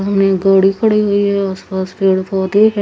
सामने गाडी खड़ी हुई है आस पास पेड़ पोधे है।